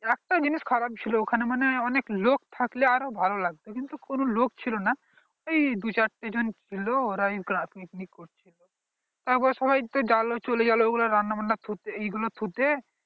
একটা জিনিস খারাপ ছিল ওখানে মানে অনেক লোক থাকলে আরো ভালো লাগতো কিন্তু কনো লোক ছিল না এই দু চারটে জন ছিল ওরাই picnic করছিল তারপর সবাই তো গেল চলে গেল ওগুলা রান্না থুতে এগুলো থুতে